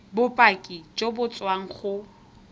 bopaki jo bo tswang go